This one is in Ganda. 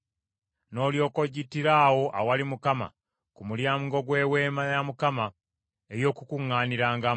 n’olyoka ogittira awo awali Mukama ku mulyango gw’Eweema ey’Okukuŋŋaanirangamu.